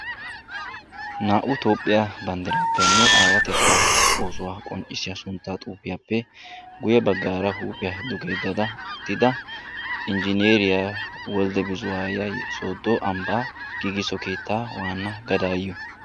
Naa'u toophiya banddiraappenbe aawayettaa oosuwa qonccissiya xuufiiyappe guyye baggaara huuphiya duge yeddada uttida injjineeriya Wilde buzaaya sooddo ambbaa giugisso keettaa waanna gadaayyiyo.